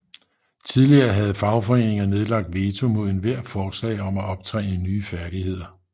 Tidligere havde fagforeninger nedlagt veto mod ethvert forslag om at optræne nye færdigheder